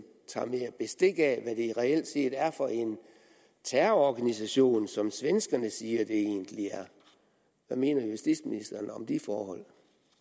mere bestik af hvad det reelt set er for en terrororganisation som svenskerne siger det egentlig er hvad mener justitsministeren om de forhold